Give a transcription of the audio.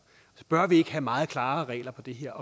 bør vi ikke have meget klarere regler på det her